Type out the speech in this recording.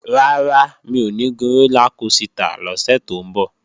Rárá, mi ò ní gun rólá kosità lọ́sẹ̀ tó ń bọ̀